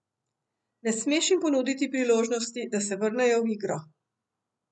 Ne smeš jim ponuditi priložnosti, da se vrnejo v igro.